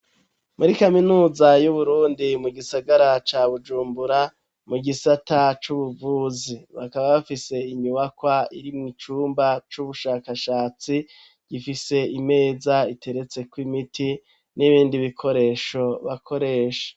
Muri kaminuza y'uburundi mu gisagara ca bujumbura mu gisata c'ubuvuzi bakaba bafise inyubakwa iri mu icyumba c'ubushakashatsi gifise imeza iteretse ku'imiti n'ibindi bikoresho bakoresha.